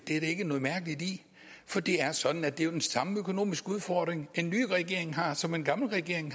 for det er sådan at det jo er den samme økonomiske udfordring den nye regering har som den gamle regering